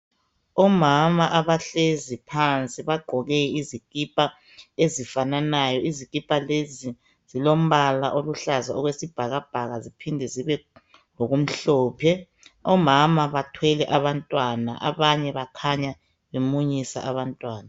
Omama abahlezi phansi bagqoke izikipa ezifananayo. Izikipa lezi zilombala oluhlaza okwesibhakabhaka ziphinde zibelokumhlophe. Omama bathwele abantwana bakhanya bemunyisa abantwana.